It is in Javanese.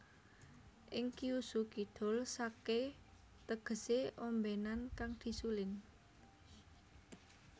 Ing Kyushu Kidul sake tegese ombenan kang disuling